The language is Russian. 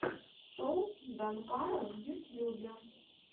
шоу данкара в ютьюбе